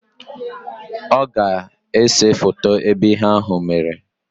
Ọ ga-ese foto ebe ihe ahụ mere